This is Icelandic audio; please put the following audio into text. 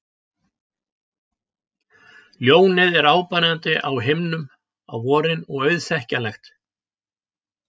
Ljónið er áberandi á himninum á vorin og auðþekkjanlegt.